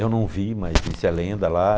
Eu não vi, mas disse a lenda lá.